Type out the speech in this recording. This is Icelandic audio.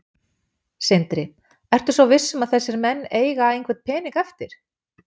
Sindri: Ertu svo viss um að þessir menn eiga einhvern pening eftir?